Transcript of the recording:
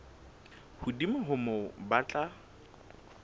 hodimo ho moo ba tla